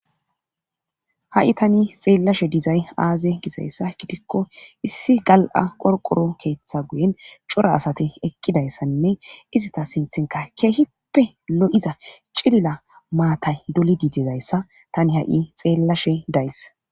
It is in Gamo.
ha7i tani xeellashe dizay aaze gizayssa gidikko issi gal7a qorqoro keeththa guyen cora asati eqqidayssanne izita sinthenka keehippe lo7iza cilla maatay dolidididayssa tani ha7i xeellashe days